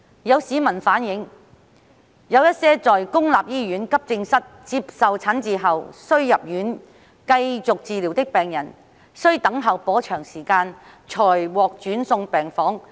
有市民反映，有一些在公立醫院急症室接受診治後需入院繼續治療的病人，需等候頗長時間才獲轉送病房。